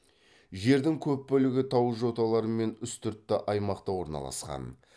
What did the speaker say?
жердің көп бөлігі тау жоталары мен үстіртті аймақта орналасқан